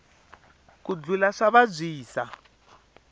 ku dlula swa vabyisa